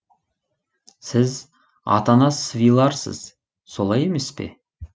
сіз атанас свиларсыз солай емес пе